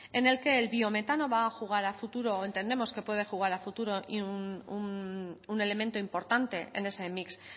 en el que el biometano va a jugar a futuro o entendemos que puede jugar al futuro y un elemento importante en ese mix